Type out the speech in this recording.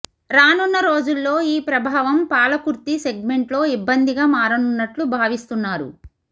రానున్న రోజుల్లో ఈ ప్రభావం పాలకుర్తి సెగ్మెంట్లో ఇబ్బందిగా మారనున్నట్లు భావిస్తున్నారు